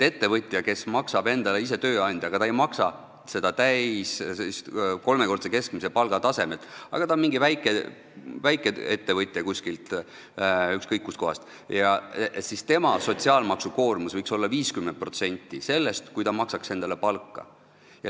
Ettevõtja, kes on ise enda tööandja, aga tal ei ole täis seda kolmekordse keskmise palga taset, ta on mingi väikeettevõtja kuskil, ükskõik kus kohas, tal võiks sotsiaalmaksukoormus olla 50% sellest, kui ta maksaks endale palka.